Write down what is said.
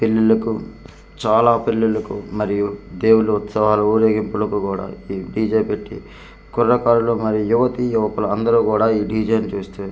పెళ్లిలకు చాలా పెళ్లిలకు మరియు దేవుళ్ళ ఉత్సవాలు ఊరేగింపులకు కూడా ఈ డీ_జే పెట్టి కుర్రకారులు మరియు యువతి యువకులు అందరూ కూడా ఈ డీ_జే చూస్తూ .